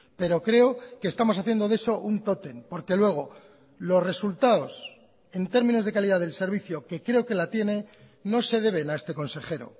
pero creo que estamos haciendo de eso un tótem porque luego los resultados en términos de calidad del servicio que creo que la tiene no se deben a este consejero